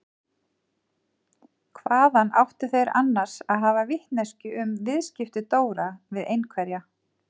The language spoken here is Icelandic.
Hvaðan áttu þeir annars að hafa vitneskjuna um viðskipti Dóra við einhverja?